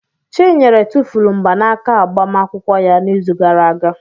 Chinyere tụfuru mgbanaka agbamakwụkwọ ya n'izu gara aga.